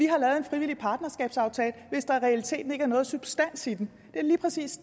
har lavet en frivillig partnerskabsaftale hvis der i realiteten ikke er nogen substans i den det er lige præcis